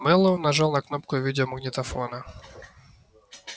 мэллоу нажал на кнопку видеомагнитофона